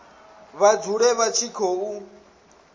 vha dzule vha tshi khou